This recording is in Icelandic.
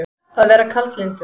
Að vera kaldlyndur